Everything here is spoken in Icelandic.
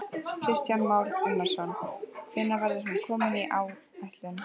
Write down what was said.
Kristján Már Unnarsson: Hvenær verður hún komin í áætlun?